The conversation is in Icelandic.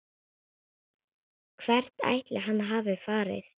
Hvert ætli hann hafi farið?